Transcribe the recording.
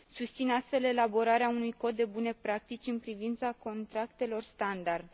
Susțin, astfel, elaborarea unui cod de bune practici în privința contractelor standard.